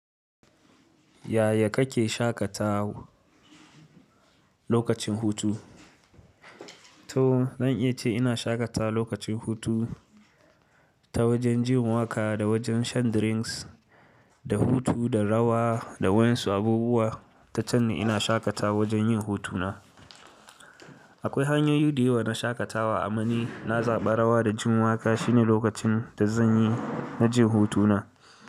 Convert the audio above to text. Yaya kake shakatawa lokacin hutu to zan iya ce ina shaƙata lokacin hutu ta wajen jin waƙa, da wajen shan drinks, da hutu, da rawa da waɗansu abubuwa. Tacan ni ina shaƙata wajen yin hutuna. Akwai hanyoyi da yawa na shaƙatawa, ama ni na zaɓa rawa da jin waƙa shine lokacin da zan yi na jin hutuna.